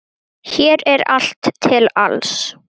Hér er allt til alls.